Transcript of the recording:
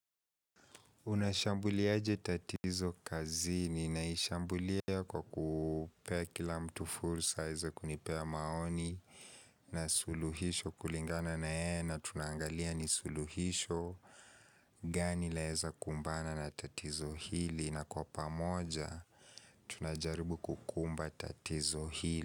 Unashambuliaje tatizo kazini naishambulia kwa kupea kila mtu fursa aweze kunipea maoni na suluhisho kulingana na yeye na tunaangalia ni suluhisho gani laeza kumbana na tatizo hili na kwa pamoja tunajaribu kukumba tatizo hili.